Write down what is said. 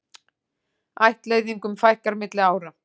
Ættleiðingum fækkar milli ára